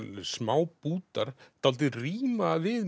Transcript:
smá bútar dálítið ríma við